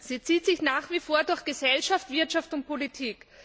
Sie zieht sich nach wie vor durch Gesellschaft, Wirtschaft und Politik.